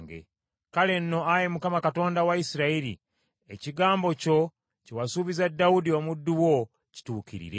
Kale nno, Ayi Mukama Katonda wa Isirayiri ekigambo kyo kye wasuubiza Dawudi omuddu wo kituukirire.